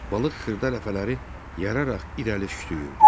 Balıq xırda ləpələri yararaq irəli şütüyürdü.